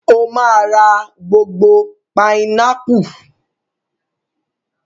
Ó máa ra gbogbo pinápù.